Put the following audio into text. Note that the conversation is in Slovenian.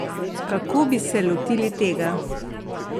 Kako bi se lotili tega?